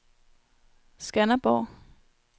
Skanderborg